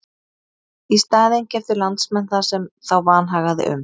Í staðinn keyptu landsmenn það sem þá vanhagaði um.